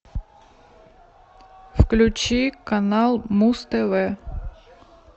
включи канал муз тв